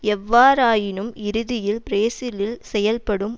எவ்வாறாயினும் இறுதியில் பிரேசிலில் செயல்படும்